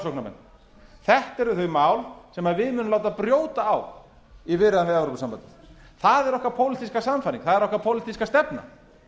framsóknarmenn þetta eru þau mál sem við munum láta brjóta á í viðræðum við evrópusambandið það er okkar pólitíska sannfæring það er okkar pólitíska stefna